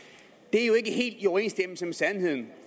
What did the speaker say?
er jo ikke helt i overensstemmelse med sandheden